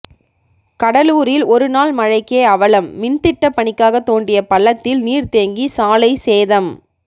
கடலூரில் ஒரு நாள் மழைக்கே அவலம் மின்திட்ட பணிக்காக தோண்டிய பள்ளத்தில் நீர் தேங்கி சாலை சேதம்